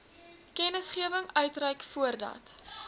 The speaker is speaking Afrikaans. kennisgewing uitreik voordat